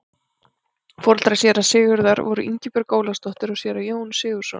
Foreldrar séra Sigurðar voru Ingibjörg Ólafsdóttir og séra Jón Sigurðsson.